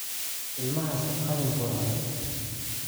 Ilmahaasi qalin buu cunay